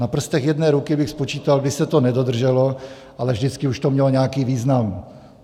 Na prstech jedné ruky bych spočíval, kdy se to nedodrželo, ale vždycky už to mělo nějaký význam.